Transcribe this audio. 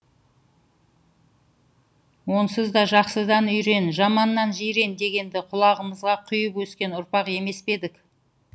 онсыз да жақсыдан үйрен жаманнан жирен дегенді құлағымызға құйып өскен ұрпақ емес пе едік